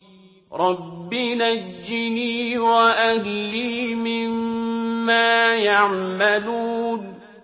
رَبِّ نَجِّنِي وَأَهْلِي مِمَّا يَعْمَلُونَ